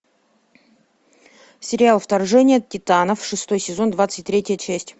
сериал вторжение титанов шестой сезон двадцать третья часть